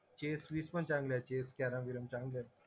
chess वीस पण चांगलंय चेस कॅरम बिरम चांगलंय